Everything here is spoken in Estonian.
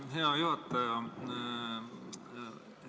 Hea juhataja!